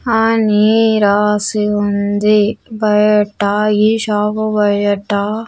అని రాసి ఉంది బయిట ఈ షాప్ బయిట.